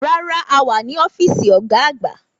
Rárá o, a wà ní ọ́fíìsì ọ̀gá àgbà